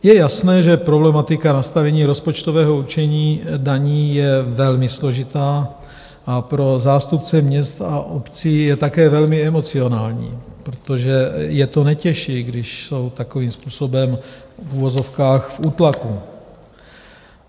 Je jasné, že problematika nastavení rozpočtového určení daní je velmi složitá a pro zástupce měst a obcí je také velmi emocionální, protože je to netěší, když jsou takovým způsobem v uvozovkách v útlaku.